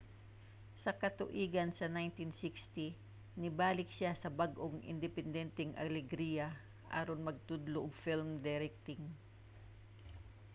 sa katuigan sa 1960 nibalik siya sa bag-ong independenteng alegria aron magtudlo og film directing